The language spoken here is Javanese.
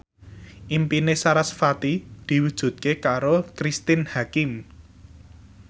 impine sarasvati diwujudke karo Cristine Hakim